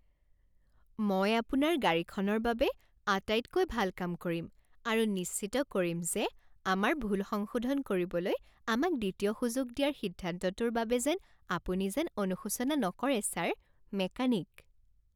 মই আপোনাৰ গাড়ীখনৰ বাবে আটাইতকৈ ভাল কাম কৰিম আৰু নিশ্চিত কৰিম যে আমাৰ ভুল সংশোধন কৰিবলৈ আমাক দ্বিতীয় সুযোগ দিয়াৰ সিদ্ধান্তটোৰ বাবে যেন আপুনি যেন অনুশোচনা নকৰে ছাৰ! মেকানিক